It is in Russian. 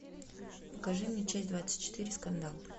покажи мне часть двадцать четыре скандал